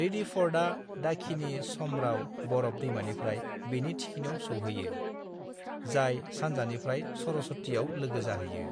रिडिफ'र्डआ दाखिनी चमराव बरफ दैमानिफ्राय बेनि थिखिनियाव सौहैयो, जाय सानजानिफ्राय सरस्वतीआव लोगो जाहैयो।